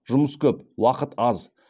жұмыс көп уақыт аз